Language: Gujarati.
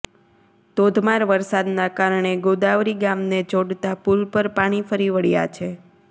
ધોધમાર વરસાદના કારણે ગોદાવરી ગામને જોડતા પુલ પર પાણી ફરી વળ્યા છે